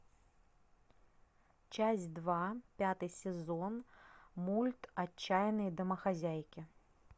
часть два пятый сезон мульт отчаянные домохозяйки